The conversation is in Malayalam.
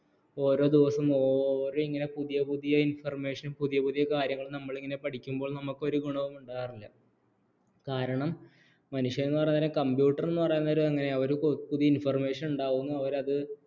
ഓരോ ദിവസം കഴിയുമ്പഴ് പുതിയ പുതിയ information പുതിയ പുതിയ കാര്യങ്ങൾ നമ്മൾ ഇങ്ങനെ പഠിക്കുമ്പോൾ നമുക്ക് ഒരു ഗുണവും ഉണ്ടാകാറില്ല കാരണം മനുഷ്യൻമാർ അതിനെ computer എന്ന് പറയുന്നത് എങ്ങനെയാ ഒരു പുതിയ information ഉണ്ടാവുന്നു